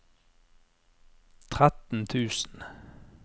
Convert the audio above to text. tretten tusen